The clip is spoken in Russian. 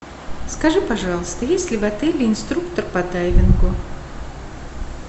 скажи пожалуйста есть ли в отеле инструктор по дайвингу